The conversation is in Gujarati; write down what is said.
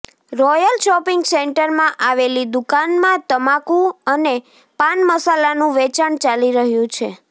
રોયલ શોપિંગ સેન્ટરમાં આવેલી દુકાનમાં તમાકુ અને પાન મસાલાનું વેચાણ ચાલી રહ્યું છે